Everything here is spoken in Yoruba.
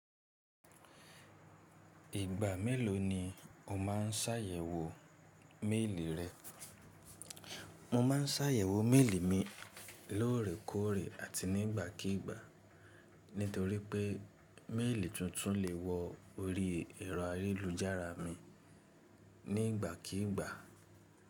Ìgbà mélòó ni o máa ń ṣàyẹ̀wò méèlì rẹ? Mo ma ń ṣàyẹ̀wò méèlì mi lóòrèkóòrè àti ní ìgbàkígbà nítorí pé méèlì tuntun lè wọ orí ẹ̀rọ ayélujára mi ní ìgbàkígbà.